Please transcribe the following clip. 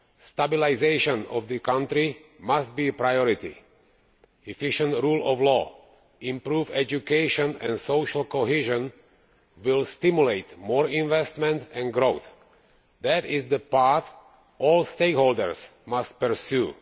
Stabilisation of the country must be a priority. Effective rule of law, improved education and social cohesion will stimulate more investment and growth. That is the path all stakeholders must pursue.